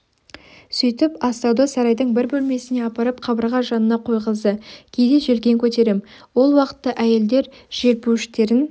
сөйтіп астауды сарайдың бір бөлмесіне апарып қабырға жанына қойғызды кейде желкен көтерем ол уақытта әйелдер желпуіштерін